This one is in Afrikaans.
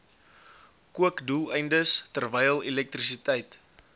kookdoeleindes terwyl elektrisiteit